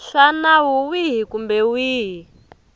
swa nawu wihi kumbe wihi